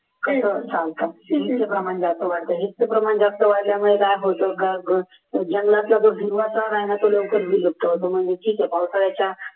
असं चालतं नुसतं प्रमाण जास्त वाढतं आहे हेच तर प्रमाण जास्त वाढल्यामुळे काय होतं जंगलाचा भी ना पाठ लवकर विलुप्त होतं म्हणजे ठीक आहे पावसाळ्याच्या